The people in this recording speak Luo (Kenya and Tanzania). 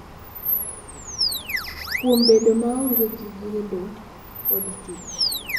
Kuom bedo maonge gi gedo kod tich,